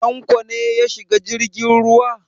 Tanko ne ya shiga jirgin ruwa?